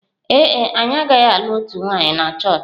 Ee e, anyị agaghị alụ otu nwanyị na chọọchị.